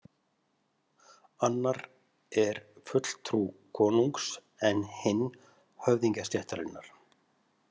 Annar er fulltrú konungs en hinn höfðingjastéttarinnar.